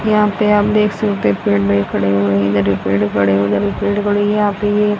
यहां पे आप देख सकते हैं पेड़ भी खड़े हुए हैं इधर भी पेड़ खड़े उधर भी पेड़ खड़े है यहां पे ये --